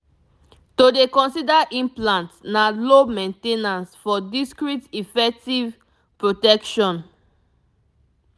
to dey consider implant na low main ten ance for discreet efective protection pause pause